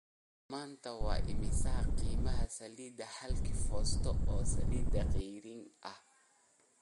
Maanta waa imisa qiimaha saliidda halkii foosto oo saliid ceyriin ah?